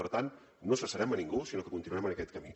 per tant no cessarem ningú sinó que continuarem en aquest camí